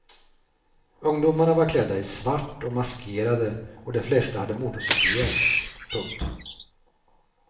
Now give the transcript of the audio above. Ungdomarna var klädda i svart och maskerade och de flesta hade motorcykelhjälm. punkt